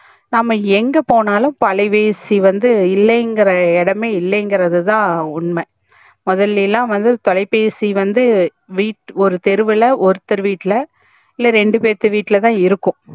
நம்ப எங்க போனாலும் இப்போ அலைபேசி வந்து இல்லைங்கிற இடமே இல்லைங்கரதா உண்மை முதலையிலலாம் வந்து தொலைபேசி வந்து வீட்ல ஒரு தெருவுல ஒருத்தர் வீட்ல இல்ல ரெண்டு பேர்த்து வீட்ல தா இருக்கும்